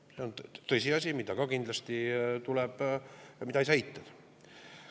See on tõsiasi, mida ka kindlasti ei saa eitada.